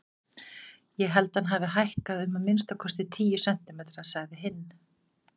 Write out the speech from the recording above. Ég held að hann hafi hækkað um að minnstakosti tíu sentimetra, sagði hinn.